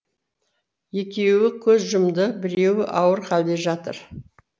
екеуі көз жұмды біреуі ауыр халде жатыр